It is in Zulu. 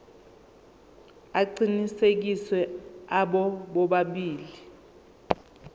aqinisekisiwe abo bobabili